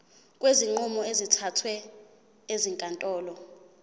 kwezinqumo ezithathwe ezinkantolo